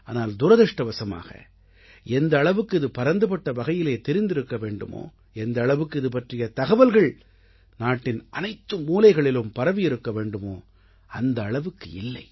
ஆனால் துரதிர்ஷ்டவசமாக எந்த அளவுக்கு இது பரந்துபட்ட வகையிலே தெரிந்திருக்க வேண்டுமோ எந்த அளவுக்கு இது பற்றிய தகவல்கள் நாட்டின் அனைத்து மூலைகளிலும் பரவியிருக்க வேண்டுமோ அந்த அளவுக்கு இல்லை